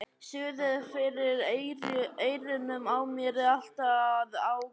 Suðið fyrir eyrunum á mér er alltaf að ágerast.